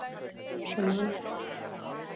Svo man ég það.